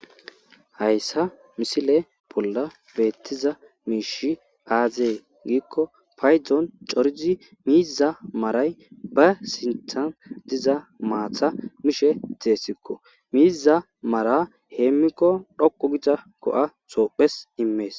hayssa misile bolla beettiza miishi aazee giikko paydzoon corizi miiza maaray ba sinthan diza maatha mishe deessikko miiza mara heemmikko dhoku giza go7a soophes immees